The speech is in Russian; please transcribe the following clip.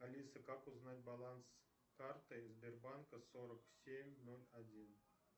алиса как узнать баланс карты сбербанка сорок семь ноль один